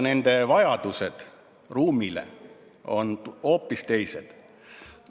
Nende ruumivajadused on hoopis teised.